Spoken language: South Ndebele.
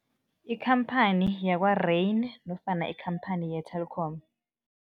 Ikhamphani yakwa-Rain nofana ikhamphani ye-Telkom.